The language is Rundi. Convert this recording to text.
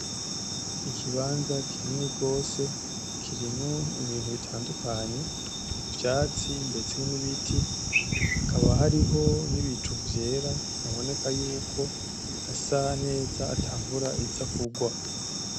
Ikibanza kinini gose, kirimwo ibintu bitandukanye, ivyatsi ndetse n'ibiti hakaba hariho n'ibicu vyera haboneka yuko hasa neza ata mvura iza kurwa.